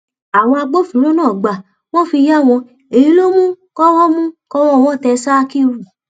àwọn agbófinró náà gbà wọn fi yà wọn èyí ló sì mú kọwọ mú kọwọ wọn tẹ sakiru